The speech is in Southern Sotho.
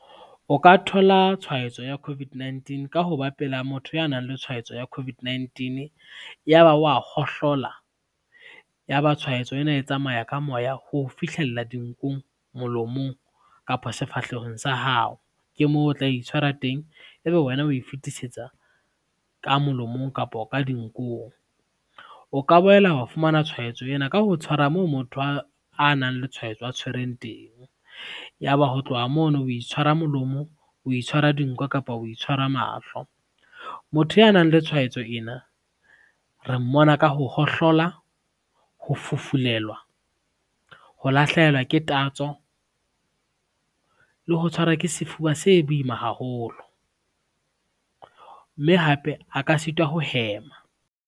O ka thola tshwaetso ya COVID-19 ka ho bapela motho ya nang le tshwaetso ya COVID-19, ya ba wa hohlola ya ba tshwaetso ena e tsamaya ka moya ho o fihlella dinkong, molomong kapa sefahlehong sa hao, ke moo o tla itshwara teng, ebe wena o e fetisetsa ka molomong kapo ka dinkong. O ka boela wa fumana tshwaetso ena ka ho tshwara moo motho a nang le tshwaetso a tshwereng teng, ya ba ho tloha mono o itshwara molomo, o itshwara dinko kapa o itshwara mahlo. Motho ya nang le tshwaetso ena re mmona ka ho hohlola ho fufulelwa, ho lahlehelwa ke tatso le ho tshwarwa ke sefuba se boima haholo, mme hape a ka sitwa ho hema.